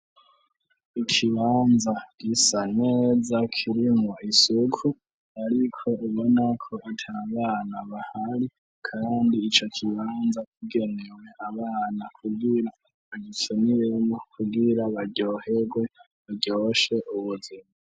Ikibanza gisa neza kirimwo isuku ariko ubona ko ata bana bahari kandi ico kibanza kigenewe abana kugira bagikiniremwo kugira baryoherwe, baryoshe ubuzima.